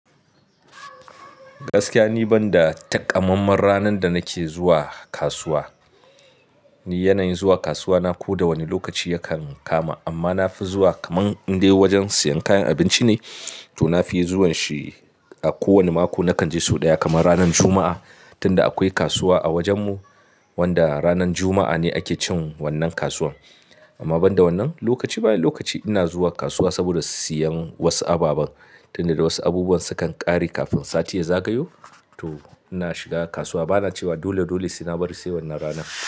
Gaskiya ni banda takamammen ranan da nake zuwa kasuwa, ni yanayin zuwa kasuwa na ko da wane lokaci yakan kama. Amma na fi zuwa kaman in dai wajen siyan kayan abinci ne, to na fi zuwan shi a kowane mako nakan je sau ɗaya kaman ranan Juma'a. Tunda akwai kasuwa a wajen mu wanda ranan Juma'a ne ake cin wannan kasuwan. Amma banda wannan lokaci bayan lokaci ina zuwa kasuwa saboda siyan wasu ababan. Tunda wasu abubuwan sukan ƙare kafin sati ya zagayo, to ina shiga kasuwa bana cewa dole dole sai na bari sai wannan ranan.